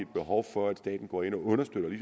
behov for at staten går ind og understøtter det